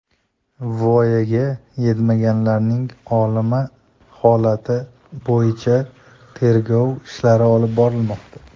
Voyaga yetmaganlarning o‘limi holati bo‘yicha tergov ishlari olib borilmoqda.